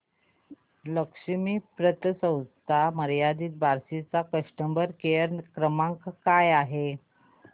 लक्ष्मी पतसंस्था मर्यादित बार्शी चा कस्टमर केअर क्रमांक काय आहे